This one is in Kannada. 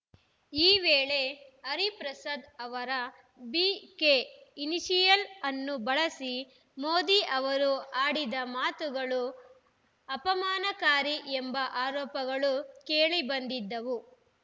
ಈ ವೇಳೆ ಹರಿಪ್ರಸಾದ್‌ ಅವರ ಬಿಕೆ ಇನಿಷಿಯಲ್‌ ಅನ್ನು ಬಳಸಿ ಮೋದಿ ಅವರು ಆಡಿದ ಮಾತುಗಳು ಅಪಮಾನಕಾರಿ ಎಂಬ ಆರೋಪಗಳು ಕೇಳಿಬಂದಿದ್ದವು